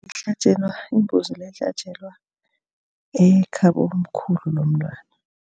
Ihlatjelwa imbuzi le ihlatjelwa ekhabomkhulu lomntwana.